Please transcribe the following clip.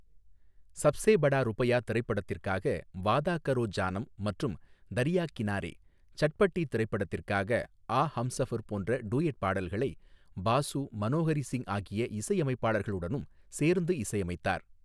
சப்ஸே படா ருப்பையா' திரைப்படத்திற்காக 'வாதா கரோ ஜானம்' மற்றும் 'தரியா கினாரே' , சட்பட்டீ திரைப்படத்திற்காக 'ஆ ஹம்ஸஃபர்' போன்ற டூயட் பாடல்களை பாசு, மனோஹரி சிங் ஆகிய இசையமைப்பாளர்களுடனும் சேர்ந்து இசையமைத்தார்.